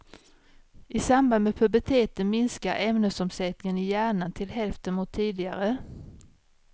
I samband med puberteten minskar ämnesomsättningen i hjärnan till hälften mot tidigare.